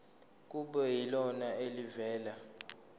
kube yilona elivela